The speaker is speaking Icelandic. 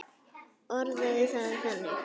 Orðaði það þannig.